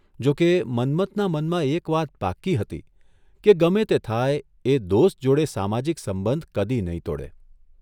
જોકે, મન્મથના મનમાં એક વાત પાક્કી હતી કે ગમે તે થાય એ દોસ્ત જોડે સામાજિક સંબંધ કદી નહીં તોડે !